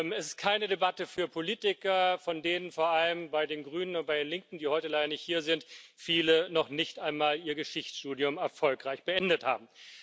Es ist keine Debatte für Politiker, von denen vor allem bei den Grünen und bei den Linken, die heute leider nicht hier sind, viele noch nicht einmal ihr Geschichtsstudium erfolgreich beendet haben.